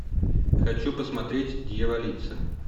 хочу посмотреть дьяволица